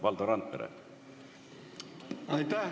Valdo Randpere!